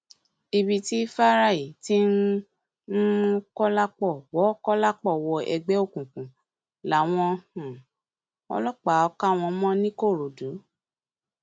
ibi tí fáráì ti ń um mú kọlápọ wọ kọlápọ wọ ẹgbẹ òkùnkùn làwọn um ọlọpàá kà wọn mọ nìkòròdú